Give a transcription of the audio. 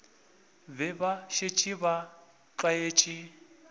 be ba šetše ba tlwaetše